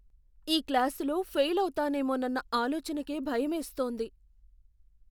ఈ క్లాసులో ఫెయిల్ అవుతానేమోనన్న ఆలోచనకే భయమేస్తోంది.